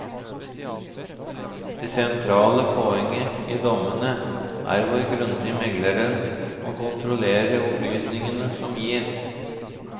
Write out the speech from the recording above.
Det sentrale poeng i dommene er hvor grundig megleren må kontrollere opplysningene som gis.